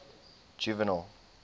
juvenal